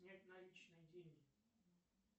снять наличные деньги